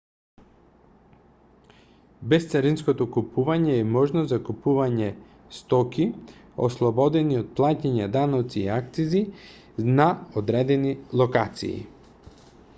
бесцаринското купување е можност за купување стоки ослободени од плаќање даноци и акцизи на одредени локации